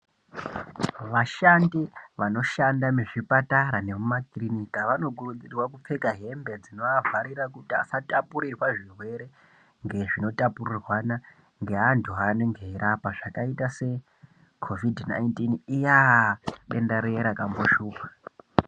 Vashandi vanoshanda muzvipatara nemumakirinika vanokurudzirwa kupfeka hembe dzinoavharira, kuti asatapurirwa zvirwere ngezvinotapurirwana ngeantu aanenge eirapa. Zvakaita se kovhidhi nainitini iyaa, denda riya rakamboshupha.